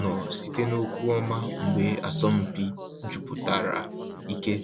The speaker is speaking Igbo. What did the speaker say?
nọ site n’okwu ọma mgbe asọmpi jupụtara ike.